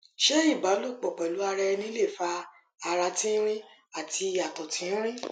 ṣe iba lopo pelu ara eni le fa ara tinrin ati ato tinrin